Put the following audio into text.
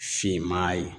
Finman ye